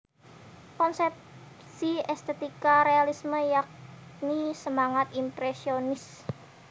Konsepsi estetika realisme yakni semangat impresionis